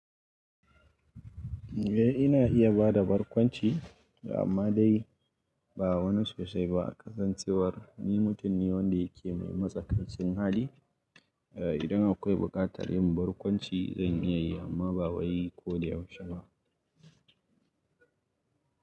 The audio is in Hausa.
Eh ina iya bada barkwanci amma dai ba wani sosai ba. Kasancewar ni mutum ne wanda yake mai matsakaicin hali, eh idan akwai buƙatar yin barkwanci zan iya yi amma ba wai ko da yaushe ba.